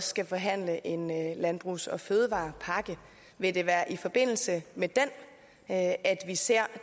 skal forhandle en landbrugs og fødevarepakke vil det være i forbindelse med den at vi ser